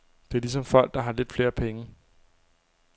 Det er ligesom folk, der har lidt flere penge.